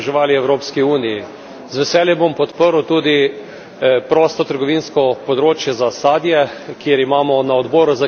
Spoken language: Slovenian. Z veseljem bom podprl tudi prostotrgovinsko področje za sadje, kjer imamo na Odboru za kmetijstvo to temo.